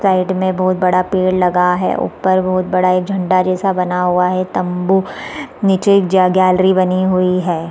Side में बहुत बड़ा पेड़ लगा है ऊपर बहुत बड़ा झंडा जैसा बना हुआ है तम्बू निचे जे एक गैलरी बनी हुई है।